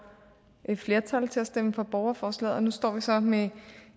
et flertal til at stemme for borgerforslaget og nu står vi så med